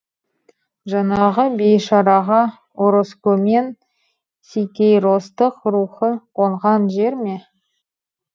жанағы бейшараға ороскомен сикейростык рухы қоңған жер ме